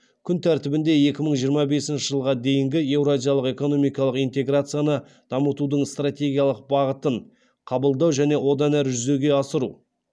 күн тәртібінде екі мың жиырма бесінші жылға дейінгі еуразиялық экономикалық интеграцияны дамытудың стратегиялық бағытын қабылдау және одан ары жүзеге асыру